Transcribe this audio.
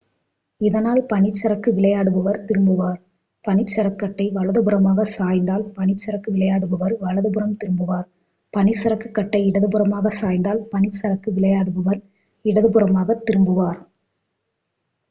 இதனால் பனிச் சறுக்கு விளையாடுபவர் திரும்புவார் பனிசறுக்குகட்டை வலதுபுறமாக சாய்ந்தால் பனிச் சறுக்கு விளையாடுபவர் வலதுபுறம் திரும்புவார் பனிசறுக்குகட்டை இடதுபுறமாக சாய்ந்தால் பனிச் சறுக்கு விளையாடுபவர் இடதுபுறமாக திரும்புவார்